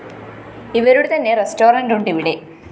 ഇവരുടെ തന്നെ റെസ്റ്റോറന്റുണ്ട് ഇവിടെ